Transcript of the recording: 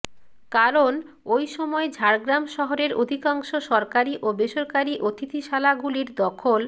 কারণ ওই সময় ঝাড়গ্রাম শহরের অধিকাংশ সরকারি ও বেসরকারি অতিথিশালাগুলির দখল